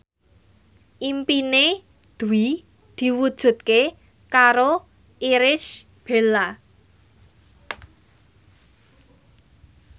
impine Dwi diwujudke karo Irish Bella